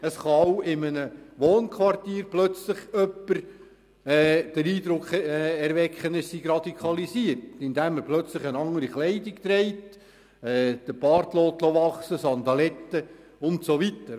Auch in einem Wohnquartier kann plötzlich jemand den Eindruck erwecken, er sei radikalisiert worden, weil er plötzlich andere Kleidung trägt, den Bart wachsen lässt, Sandaletten trägt und so weiter.